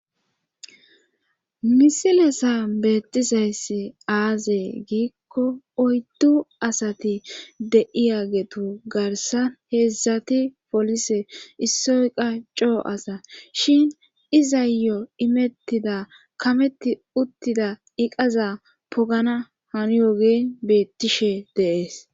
misilezani beettizayssi aaze giikko oyddu asati de7iyagetu garsan heedzdzati polise issoy qacho asa shin izayo imettida kameti uttida iqaza pogana hani yogeen beettishe dees